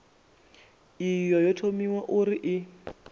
iyi yo thomiwa uri i